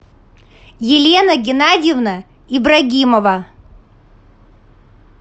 елена геннадьевна ибрагимова